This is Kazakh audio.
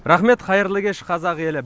рақмет қайырлы кеш қазақ елі